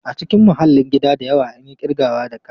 A cikin mahallin gida da yawa, an yi ƙirgawa da ka.